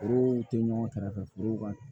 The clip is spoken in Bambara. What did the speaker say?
Foro tɛ ɲɔgɔn kɛrɛfɛ forow ka